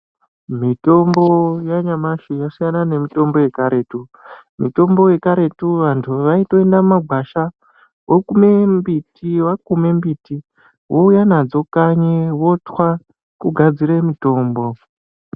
Mitombo yanyamashi yasiyana memitombo yekaretu. Mitombo yekaretu vantu vaitoenda mumagwasha vokume mbiti, vakume mbiti vouya nadzo kanyi votwa kugadzira mutombo.